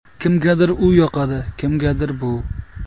Kimgadir u yoqadi, kimgadir bu.